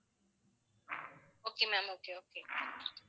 okay ma'am okay okay